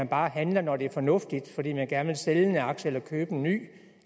bare at handle når det er fornuftigt fordi man gerne vil sælge en aktie eller købe en ny